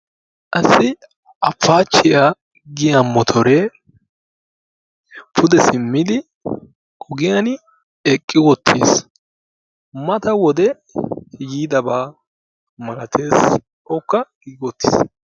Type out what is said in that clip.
Qassi appaachchiya giya motoree pude simmidi ogiyani eqqi wottiis. Mata wode yiidabaa malatees. Ikkaa toggi wottiis.